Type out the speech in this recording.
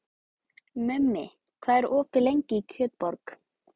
Mummi, hvað er opið lengi í Kjötborg?